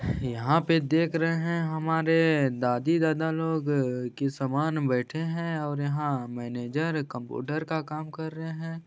यहाँ पे देख रहे है हमारे दादी दादा लोग अअअ की समान बैठे है और यहाँ मैनेजर कंप्यूटर का काम कर रहे है।